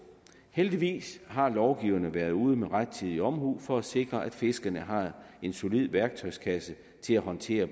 heldigvis har lovgiverne været ude med rettidig omhu for at sikre at fiskerne har en solid værktøjskasse til at håndtere